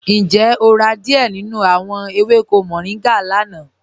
Ǹjẹ́ o rà díẹ̀ nínú awọn èwékò mòrìngá lána?